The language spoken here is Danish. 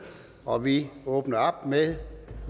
og vi åbner op med